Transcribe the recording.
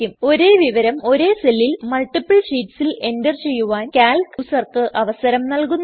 ഒരേ വിവരം ഒരേ സെല്ലിൽ മൾട്ടിപ്പിൽ ഷീറ്റ്സിൽ എൻറർ ചെയ്യുവാൻ കാൽക് യൂസർക്ക് അവസരം നല്കുന്നു